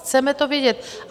Chceme to vědět!